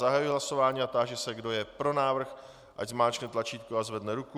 Zahajuji hlasování a táži se, kdo je pro návrh, ať zmáčkne tlačítko a zvedne ruku.